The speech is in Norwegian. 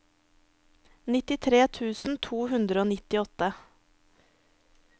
nittitre tusen to hundre og nittiåtte